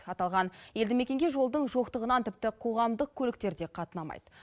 аталған елді мекенге жолдың жоқтығынан тіпті қоғамдық көліктер де қатынамайды